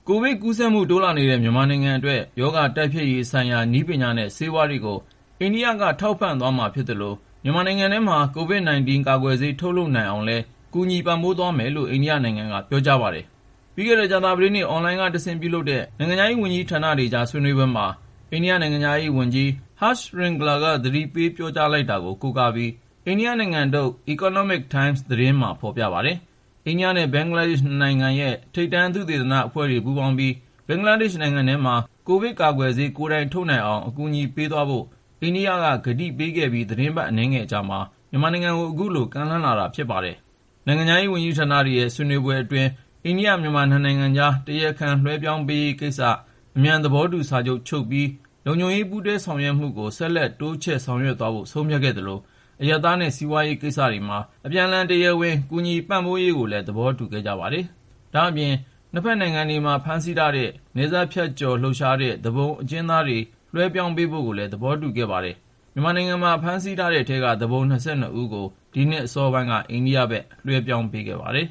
ကိုဗစ်ကူးစက်မှု တိုးလာနေတဲ့ မြန်မာနိုင်ငံအတွက် ရောဂါတိုက်ဖျက်ရေးဆိုင်ရာ နည်းပညာနဲ့ ဆေးဝါးတွေကို အိန္ဒိယက ထောက်ပံ့သွားမှာ ဖြစ်သလို မြန်မာနိုင်ငံထဲမှာ COVID-19 ကာကွယ်ဆေး ထုတ်လုပ်နိုင်အောင်လည်း ကူညီပံ့ပိုးပေးသွားမယ်လို့ အိန္ဒိယနိုင်ငံက ပြောကြားလိုက်ပါတယ်။ ပြီးခဲ့တဲ့ ကြာသပတေးနေ့ အွန်လိုင်းကတဆင့် ပြုလုပ်တဲ့ နိုင်ငံခြားရေးဝန်ကြီးဌာနတွေကြား ဆွေးနွေပွဲမှာ အိန္ဒိယ နိုင်ငံခြားရေးအတွင်းဝန် Harsh Shringla က ကတိပေး ပြောကြားလိုက်တာ ဖြစ်ပါတယ်။ အိန္ဒိယနဲ့ ဘင်္ဂလားဒေ့ရှ် နှစ်နိုင်ငံရဲ့ ထိပ်တန်း သုတေသနအဖွဲ့တွေ ပူးပေါင်းပြီး ဘင်္ဂလားဒေ့ရှ်နိုင်ငံထဲမှာ ကိုဗစ်ကာကွယ်ဆေး ကိုယ်တိုင်ထုတ်နိုင်အောင် အကူအညီပေးသွားဖို့ အိန္ဒိယက ကတိပေးခဲ့ပြီး သီတင်းပတ် အနည်းငယ်အကြာမှာ မြန်မာနိုင်ငံကို အခုလို ကမ်းလှမ်းလာတာ ဖြစ်ပါတယ်။ နိုင်ငံခြားရေး ဝန်ကြီးဌာတွေရဲ့ ဆွေးနွေးပွဲအတွင်း အိန္ဒိယ-မြန်မာ နှစ်နိုင်ငံကြား တရားခံလွဲှပြောင်းပေးရေးကိစ္စ အမြန် သဘောတူစာချုပ် ချုပ်ပြီး လုံခြုံရေး ပူးတွဲဆောင်ရွက်မှုကို ဆက်လက်တိုးချဲ့ လုပ်ဆောင်သွားဖို့ ဆုံးဖြတ်ခဲ့သလို အရပ်သားနဲ့ စီးပွားရေးကိစ္စတွေမှာ အပြန်အလှန် တရားဝင် ကူညီပံ့ပိုးရေးကိုလည်း သဘောတူခဲ့ကြပါတယ်။ ဒါ့အပြင် နှစ်ဖက်နိုင်ငံတွေမှာ ဖမ်းဆီးထားတဲ့ နယ်စပ်ဖြတ်ကျော်လှုပ်ရှားတဲ့ သူပုန်အကျဉ်းသားတွေ လွှဲပြောင်းပေးဖို့ကိုလည်း သဘောတူခဲ့ပါတယ်။ မြန်မာနိုင်ငံမှာ ဖမ်းဆီးထားတဲ့အထဲက သူပုန် ၂၂ ဦးကို ဒီနှစ် အစောပိုင်းက အိန္ဒိယဘက် လွှဲပြောင်းပေးခဲ့ပါတယ်